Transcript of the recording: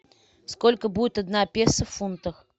сколько будет одна песо в фунтах